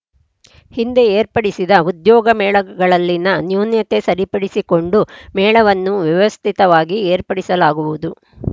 ಹಿಂದೆ ಏರ್ಪಡಿಸಿದ ಉದ್ಯೋಗ ಮೇಳಗಳಲ್ಲಿನ ನ್ಯೂನ್ಯತೆ ಸರಿಪಡಿಸಿಕೊಂಡು ಮೇಳವನ್ನು ವ್ಯವಸ್ಥಿತವಾಗಿ ಏರ್ಪಡಿಸಲಾಗುವುದು